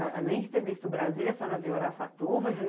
Além de ter visto Brasília, a senhora viu Araçatuba?